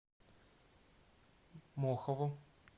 мохову